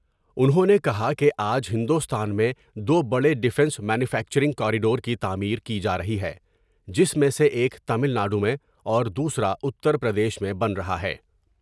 انہوں نے کہا کہ آج ہندوستان میں دو بڑے ڈفینس مینوفیکچرنگ کاریڈور کی تعمیر کی جارہی ہے جس میں سے ایک تمل ناڈو میں اور دوسرا اتر پردیش میں بن رہا ہے ۔